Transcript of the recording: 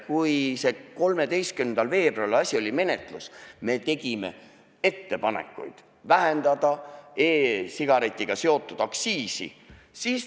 Kui 13. veebruaril asi oli menetluses, siis me tegime ettepanekuid vähendada e-sigaretiga seotud aktsiisi.